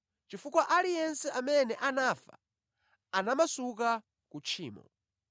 chifukwa aliyense amene anafa anamasuka ku tchimo.